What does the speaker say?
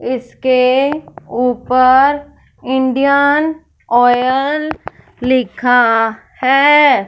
इसके ऊपर Indian Oil लिखा है।